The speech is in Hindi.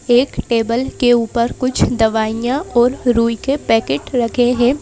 एक टेबल के ऊपर कुछ दवाइयां और रूई के पैकेट रखे हैं।